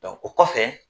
o kɔfɛ